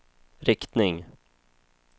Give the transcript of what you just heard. riktning